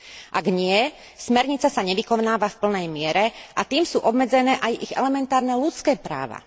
Ak nie, smernica sa nevykonáva v plnej miere, a tým sú obmedzené aj ich elementárne ľudské práva.